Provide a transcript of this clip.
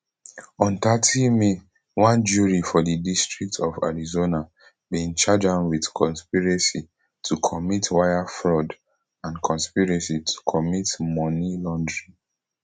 on thirty may one jury for di district of arizona bin charge am wit conspiracy to commit wire fraud and conspiracy to commit money laundering